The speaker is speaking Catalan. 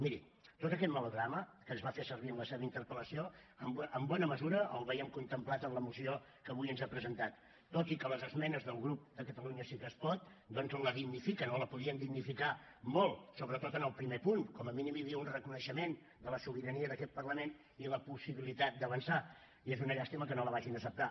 miri tot aquest melodrama que es va fer servir en la seva interpel·lació en bona mesura el veiem contemplat en la moció que avui ens ha presentat tot i que les esmenes del grup de catalunya sí que es pot doncs la dignifiquen o la podien dignificar molt sobretot en el primer punt com a mínim hi havia un reconeixement de la sobirania d’aquest parlament i la possibilitat d’avançar i és una llàstima que no la vagin a acceptar